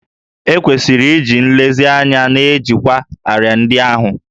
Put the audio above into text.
E kwesịrị iji nlezianya na-ejikwa árịà ndị ahụ